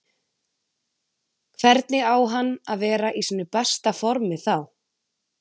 Hvernig á hann að vera í sínu besta formi þá?